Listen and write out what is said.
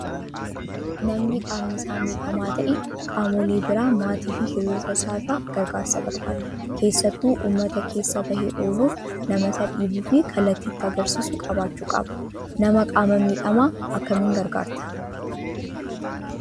Namni qaamni isaa miidhamaa ta'e qaamolee biraa maatii fi Hiriyoota isaa irraa gargaarsa barbaada. Keessattuu uummata keessa bahee ooluuf nama Isa dhiibuu fi kallattii itti agarsiisu qabaachuu qaba. Nama qaama miidhamaa akkamiin gargaartaa?